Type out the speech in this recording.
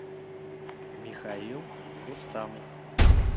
михаил рустамов